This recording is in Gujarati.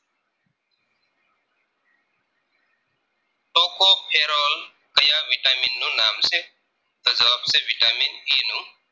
Toko Kheral કયા vitamin નું નામ છે તો જવાબ છે vitamin E નું